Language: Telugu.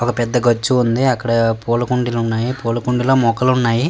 ఒక పెద్ద గచ్చు ఉంది. అక్కడ పూల కుండీలు ఉన్నాయి పూల కుండీలో మొక్కలు ఉన్నాయి.